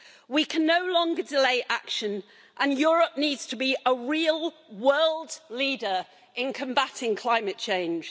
We can no longer delay action, and Europe needs to be a real world leader in combating climate change.